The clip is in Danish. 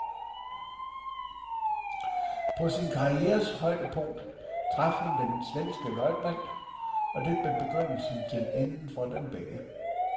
På sin karrieres højdepunkt traf hun den svenske løjtnant, og det blev begyndelsen til enden for dem begge.